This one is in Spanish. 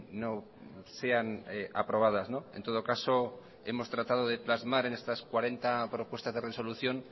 no sean aprobadas en todo caso hemos tratado de plasmar en estas cuarenta propuestas de resolución